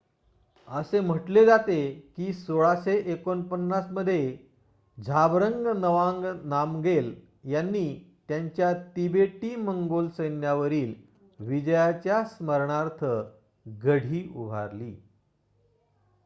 असे म्हटले जाते की १६४९ मध्ये झाबरंग नवांग नामगेल यांनी त्यांच्या तिबेटी-मंगोल सैन्यावरील विजयाच्या स्मरणार्थ गढी उभारली